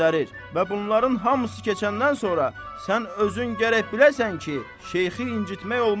Və bunların hamısı keçəndən sonra sən özün gərək biləsən ki, şeyxi incitmək olmaz.